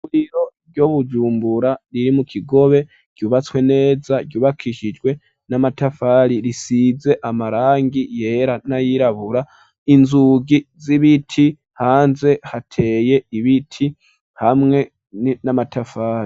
Ivuriro ry'ibujumbura riri mu kigobe ryubatswe neza ryubakishijwe n'amatafari risize amarangi yera nayirabura, inzugi z'ibiti hanze hateye ibiti hamwe n'amatafari.